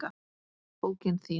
Bókin þín